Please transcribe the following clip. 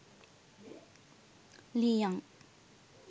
lee young